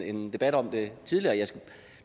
en debat om det tidligere